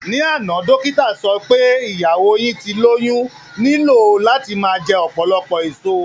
Ní àná, dókítà sọ wí pé ìyàwó yín tí ó lóyún nílò láti máa jẹ ọ̀pọ̀lọpọ̀ èso